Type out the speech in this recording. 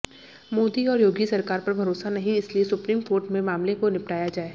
मोदी और योगी सरकार पर भरोसा नहीं इसीलिए सुप्रीम कोर्ट में मामले को निपटाया जाए